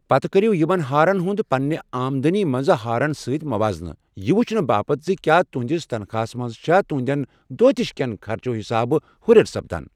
پتہٕ کٔرِو یمن ہارن ہُنٛد پنٛنہِ آمدنی منٛز ہارن سۭتۍ موازنہٕ یہِ وٕچھنہٕ باپتھ زِ کیٛاہ تُہنٛدس تنخاہَس منٛز چھا تُہنٛدٮ۪ن دوہ دِش کٮ۪و خرچو حِسابہٕ ہریر سپدان ۔